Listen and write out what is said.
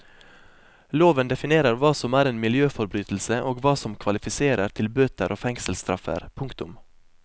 Loven definerer hva som er en miljøforbrytelse og hva som kvalifiserer til bøter og fengselsstraffer. punktum